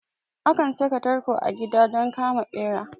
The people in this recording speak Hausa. Akan saka tarko a gida don kama ɓera